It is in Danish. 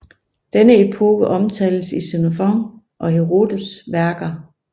Denne epoke omtales i Xenofons og Herodots værker